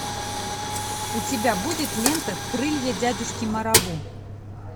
у тебя будет лента крылья дядюшки марабу